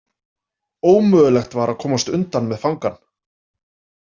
Ómögulegt var að komast undan með fangann.